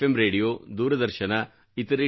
radio ದೂರದರ್ಶನ ಇತರೆ T